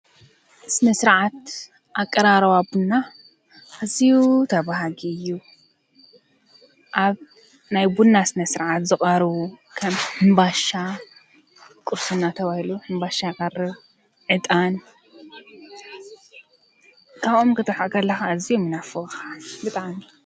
ስነ- ስርዓት ኣቀራርባ ቡና ኣዝዩ ተባሃጊ እዩ፤ ኣብ ናይ ቡና ስነ- ስርዓት ዝቐርቡ ከም ሕምባሻ ቁርስና ተባሂሉ ሕምባሻ ይቀርብ ፣ ዕጣን ይቐርብ ። ካብኦም ክትርሕቅ ከለካ ኣዝዮም ይናፍቑካ ብጣዕሚ።